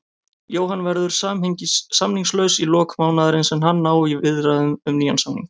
Jóhann verður samningslaus í lok mánaðarins en hann á í viðræðum um nýjan samning.